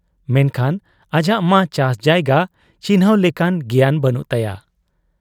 ᱢᱮᱱᱠᱷᱟᱱ ᱟᱡᱟᱜ ᱢᱟ ᱪᱟᱥ ᱡᱟᱭᱜᱟ ᱪᱤᱱᱦᱟᱺᱣ ᱞᱮᱠᱟᱱ ᱜᱮᱭᱟᱱ ᱵᱟᱹᱱᱩᱜ ᱛᱟᱭᱟ ᱾